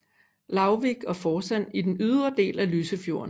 Lauvvik og Forsand i den ydre del af Lysefjorden